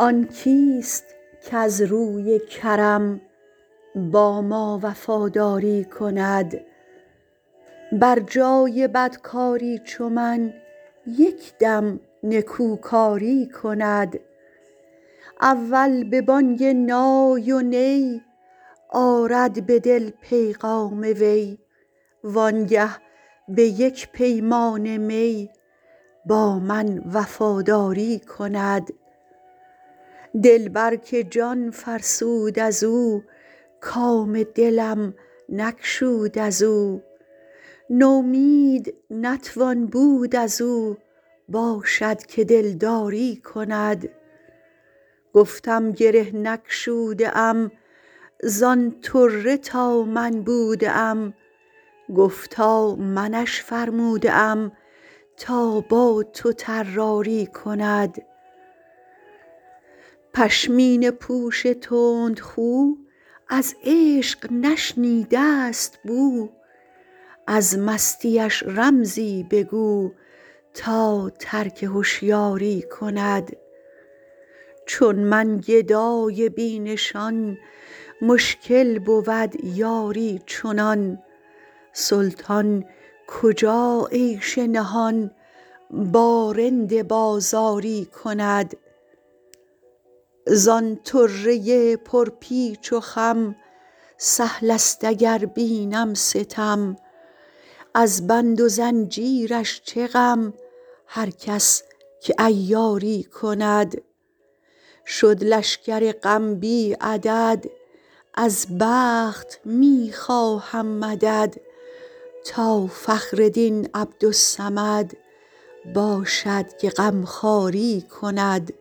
آن کیست کز روی کرم با ما وفاداری کند بر جای بدکاری چو من یک دم نکوکاری کند اول به بانگ نای و نی آرد به دل پیغام وی وانگه به یک پیمانه می با من وفاداری کند دلبر که جان فرسود از او کام دلم نگشود از او نومید نتوان بود از او باشد که دلداری کند گفتم گره نگشوده ام زان طره تا من بوده ام گفتا منش فرموده ام تا با تو طراری کند پشمینه پوش تندخو از عشق نشنیده است بو از مستیش رمزی بگو تا ترک هشیاری کند چون من گدای بی نشان مشکل بود یاری چنان سلطان کجا عیش نهان با رند بازاری کند زان طره پرپیچ و خم سهل است اگر بینم ستم از بند و زنجیرش چه غم هر کس که عیاری کند شد لشکر غم بی عدد از بخت می خواهم مدد تا فخر دین عبدالصمد باشد که غمخواری کند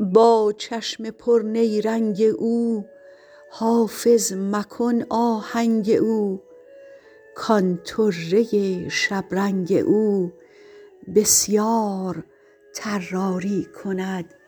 با چشم پرنیرنگ او حافظ مکن آهنگ او کان طره شبرنگ او بسیار طراری کند